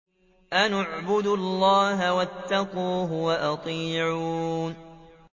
أَنِ اعْبُدُوا اللَّهَ وَاتَّقُوهُ وَأَطِيعُونِ